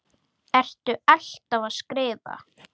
Ertu alltaf að skrifa?